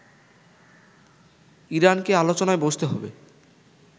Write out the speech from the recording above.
ইরানকে আলোচনায় বসতে হবে